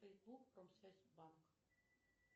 фейсбук промсвязьбанк